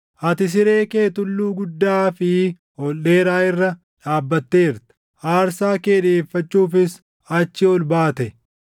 Ati siree kee tulluu guddaa fi ol dheeraa irra dhaabbatteerta; aarsaa kee dhiʼeeffachuufis achi ol baate.